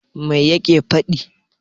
Mai yake faɗi?